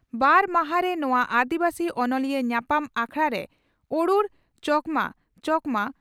ᱵᱟᱨ ᱢᱟᱦᱟ ᱨᱤ ᱱᱚᱣᱟ ᱟᱹᱫᱤᱵᱟᱹᱥᱤ ᱚᱱᱚᱞᱤᱭᱟᱹ ᱧᱟᱯᱟᱢ ᱟᱠᱷᱲᱟᱨᱮ ᱚᱨᱩᱲ ᱪᱚᱠᱢᱟ (ᱪᱚᱠᱢᱟ)